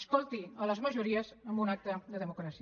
escolti les majories amb un acte de democràcia